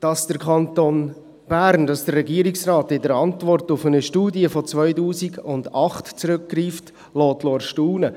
Dass der Kanton Bern, dass der Regierungsrat in der Antwort auf eine Studie von 2008 zurückgreift, weckt Erstaunen.